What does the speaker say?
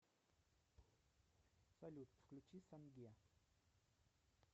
салют включи санге